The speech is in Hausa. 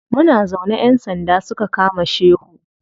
Muna zaune ƴan sanda suka kama shehu.